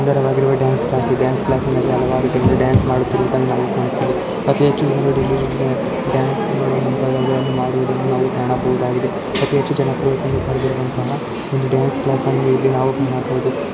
ಸುಂದರವಾಗಿರುವ dance class ಈ dance ಕ್ಲಾಸಿನಲ್ಲಿ ಹಲವಾರು ಜನರು ಡ್ಯಾನ್ಸ್ ಮಾಡುತ್ತಿರುವುದನ್ನು ಕಾಣುತ್ತೀವಿ. ಅತಿ ಹೆಚ್ಚು ಜನ್ರು ಡ್ಯಾನ್ಸ್ ಮಾಡುವಂತ ಮಾಡುವುದನ್ನು ನಾವು ಕಾಣಬಹುದಾಗಿದೆ. ಅತಿಹೆಚ್ಚು ಜನ ಪಡೆದಿರುವಂತಹ ಒಂದು ಡ್ಯಾನ್ಸ್ ಕ್ಲಾಸನ್ನು ಇಲ್ಲಿ ನಾವು ಮಾಡ್ಬಹುದು.